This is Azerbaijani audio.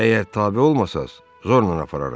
Əgər tabe olmasaz, zorla apararıq!